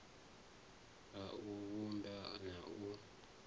a u vhumba na u